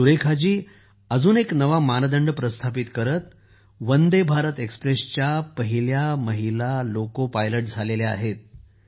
सुरेखा जी अजून एक नवा मानदंड प्रस्थापित करत वंदे भारत एक्स्प्रेसच्या पहिल्या महिला लोको चालक झाल्या आहेत